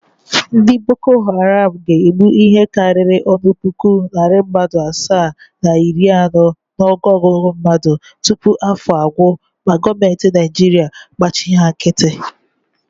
Ndị Boko Haram ga-egbu ihe karịrị otu puku, narị mmadụ asaa na iri anọ n’ọnụogụgụ mmadụ tupu afọ agwụ ma goomentị Naịjirịa gbachi ha nkịtị.